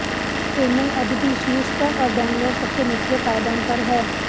चेन्नई अब भी शीर्ष पर और बेंगलोर सबसे निचले पायदान पर है